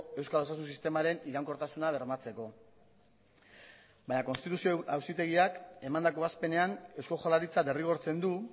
euskal osasun sistemaren iraunkortasuna bermatzeko baina konstituzio auzitegiak emandako ebazpenean eusko jaurlaritza derrigortzen du